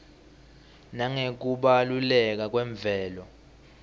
nangekubaluleka kwemvelo